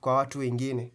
kwa watu wengine.